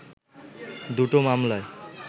দুটো মামলায়